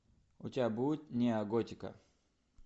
у тебя будет неоготика